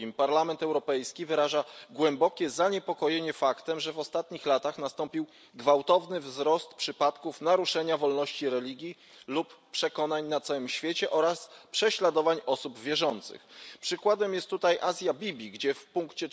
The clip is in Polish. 2 Parlament Europejski wyraża głębokie zaniepokojenie faktem, że w ostatnich latach nastąpił gwałtowny wzrost przypadków naruszenia wolności religii lub przekonań na całym świecie oraz prześladowań osób wierzących. Przykładem jest tutaj Asia Bibi, gdzie w ust.